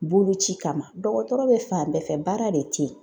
Boloci kama , dɔgɔtɔrɔ bɛ fan bɛɛ fɛ baara de tɛ yen.